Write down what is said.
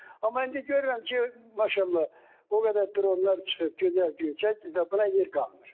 Amma indi görürəm ki, maşallah, o qədər dronlar çıxıb, gözəl göy çəkir ki, buna yer qalmır.